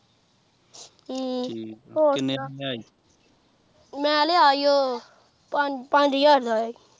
ਹਮ ਹੋਰ ਮੈਂ ਲਿਆ ਈ ਓ ਪੰਜ ਪੰਜ ਹਜ਼ਾਰ ਦਾ ਅਯਾ ਸੀ